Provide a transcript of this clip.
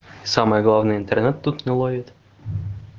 самое главное интернет тут не ловит